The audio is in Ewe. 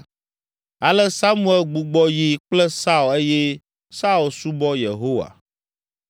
Ale Samuel gbugbɔ yi kple Saul eye Saul subɔ Yehowa.